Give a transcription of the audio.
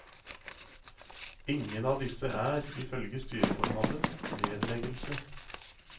Ingen av disse er, ifølge styreformannen, nedleggelse.